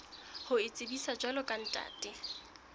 ho itsebisa jwalo ka ntate